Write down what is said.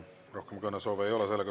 Rohkem kõnesoove ei ole.